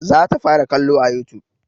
Za ta fara kallo a youtube